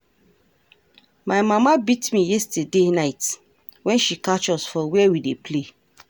My mama beat me yesterday night wen she catch us for where we dey play